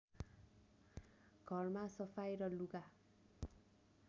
घरमा सफाइ र लुगा